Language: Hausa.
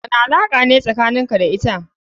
Wani alaka ne tsakanin ka da ita.